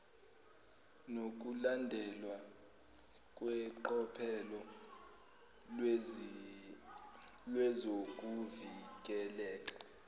nokulandelwa kweqophelo lezokuvikeleka